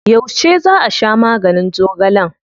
Yauce za a sha maganin zogalen?